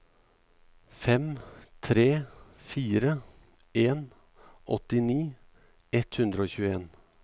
fem tre fire en åttini ett hundre og tjueen